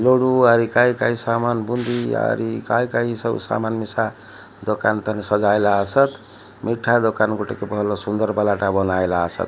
ଲଡୁ ଆରି କାଇଁ କାଇଁ ସାମାନ୍ ବୁନ୍ଦି ଆରି କାଇଁ କାଇଁ ସବୁ ସାମାନ୍ ମିଶା ଦୋକାନ ତନେ ସଜାଇଲା ସତ୍। ମିଠା ଦୋକାନ ଗୁଟିକୁ ଭଲ ସୁନ୍ଦର ବାଲାଟା ବନାଇଲା ସତ୍।